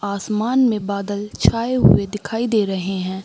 आसमान में बादल छाए हुए दिखाई दे रहे हैं।